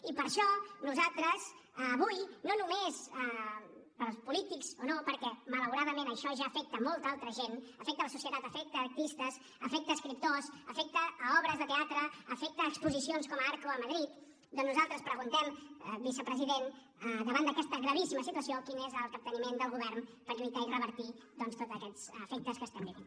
i per això nosaltres avui no només per als polítics o no perquè malauradament això ja afecta a molta altra gent afecta la societat afecta artistes afecta escriptors afecta obres de teatre afecta exposicions com arco a madrid doncs nosaltres preguntem vicepresident davant d’aquesta gravíssima situació quin és el capteniment del govern per lluitar i revertir doncs tots aquests efectes que estem vivint